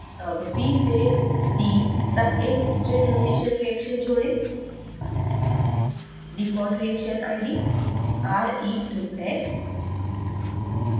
add b से d तक एक state transition reaction जोड़ें default reaction आईडी re2 है